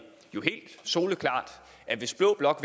soleklart at hvis blå blok